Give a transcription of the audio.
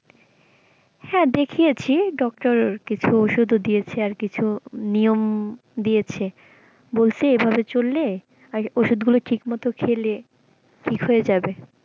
হ্যাঁ দেখিয়েছি doctor কিছু ওষুধ ও দিয়েছে আর কিছু নিয়ম দিয়েছে বলছে এভাবে চললে আর ওষুধ গুলো ঠিক মতো খেলে ঠিক হয়ে যাবে।